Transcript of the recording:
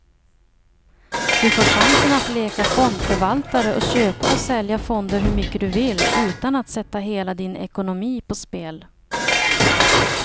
Du får chansen att leka fondförvaltare och köpa och sälja fonder hur mycket du vill, utan att sätta hela din ekonomi på spel.